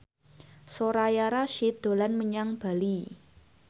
Soraya Rasyid dolan menyang Bali